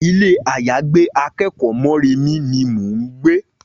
Ilé-àyágbé akẹ́kọ̀ọ́ Mọ́remí ni mò ń gbé